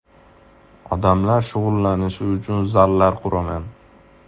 Odamlar shug‘ullanishi uchun zallar quraman.